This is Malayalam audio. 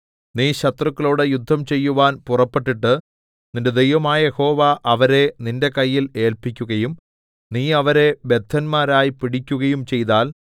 നീ ശത്രുക്കളോട് യുദ്ധം ചെയ്യുവാൻ പുറപ്പെട്ടിട്ട് നിന്റെ ദൈവമായ യഹോവ അവരെ നിന്റെ കയ്യിൽ ഏല്പിക്കുകയും നീ അവരെ ബദ്ധന്മാരായി പിടിക്കുകയും ചെയ്താൽ